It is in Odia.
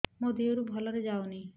ମୋ ଦିହରୁ ଭଲରେ ଯାଉନି